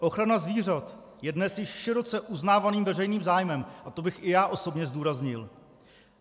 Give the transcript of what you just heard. Ochrana zvířat je dnes již široce uznávaným veřejným zájmem - a to bych i já osobně zdůraznil.